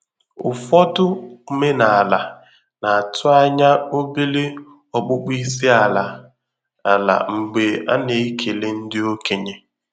Ụfọdụ omenala na-atụ ányá obere ọkpụkpọ isi àlà àlà mgbé ana ekele ndị okenye.